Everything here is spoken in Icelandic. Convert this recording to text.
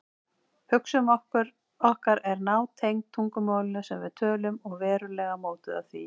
Hugsun okkar er nátengd tungumálinu sem við tölum og verulega mótuð af því.